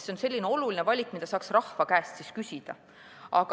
See on oluline valik, mida saaks rahva käest küsida.